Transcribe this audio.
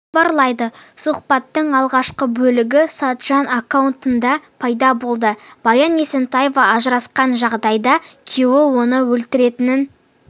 хабарлайды сұхбаттың алғашқы бөлігі сатжан аккаунтында пайда болды баян есентаева ажырасқан жағдайда күйеуі оны өлтіретінін